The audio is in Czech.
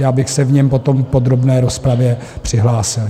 Já bych se k němu potom v podrobné rozpravě přihlásil.